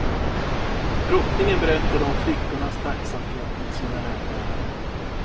Drottningen berättade om flickornas tacksamhet mot sina räddare.